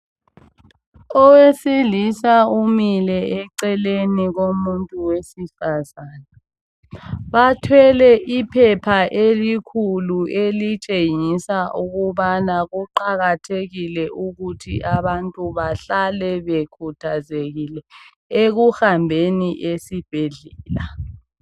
Owesilisa umile eceleni komuntu wesifazana. Bathwele iphepha elikhulu elitshengisa ukubana kuqakathekile ukuthi abantu bahlale bekhuthazekile ekuhambeni esibhedlela.